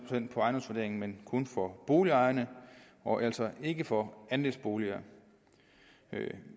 ejendomsvurderingen men kun for boligejerne og altså ikke for andelsboliger